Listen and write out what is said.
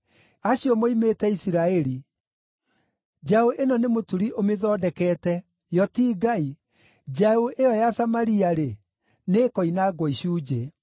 Acio moimĩte Isiraeli! Njaũ ĩno nĩ mũturi ũmĩthondekete; yo ti Ngai. Njaũ ĩyo ya Samaria-rĩ, nĩĩkoinangwo icunjĩ.